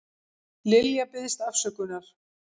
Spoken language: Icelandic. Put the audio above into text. Lilja biðst afsökunar